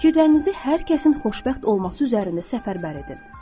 Fikirlərinizi hər kəsin xoşbəxt olması üzərində səfərbər edin.